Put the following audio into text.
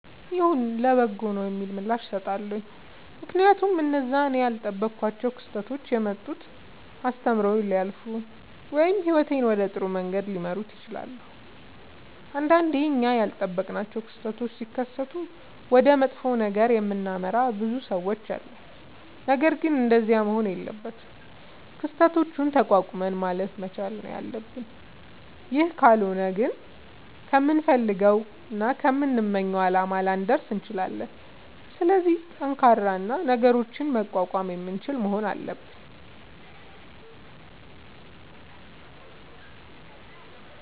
ይሁን ለበጎ ነዉ የሚል ምላሽ እሠጣለሁ። ምክንያቱም እነዚያ እኔ ያልጠበኳቸዉ ክስተቶች የመጡት አስተምረዉኝ ሊያልፉ ወይም ህይወቴን ወደ ጥሩ መንገድ ሊመሩት ይችላሉ። ንዳንዴ እኛ ያልጠበቅናቸዉ ክስተቶች ሢከሠቱ ወደ መጥፎ ነገር የምናመራ ብዙ ሠዎች አለን። ነገርግን እንደዚያ መሆን የለበትም። ክስተቶችን ተቋቁመን ማለፍ መቻል ነዉ ያለብን ይህ ካልሆነ ግን ከምንፈልገዉና ከምንመኘዉ አላማ ላንደርስ እንችላለን። ስለዚህ ጠንካራ እና ነገሮችን መቋቋም የምንችል መሆን አለብን።